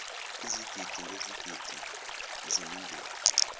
izigidi ngezigidi zemindeni